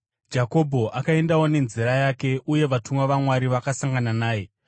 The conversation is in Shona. Jakobho akaendawo nenzira yake, uye vatumwa vaMwari vakasangana naye.